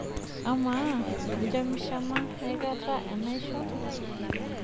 Amaa, injamishama aikata enaisho?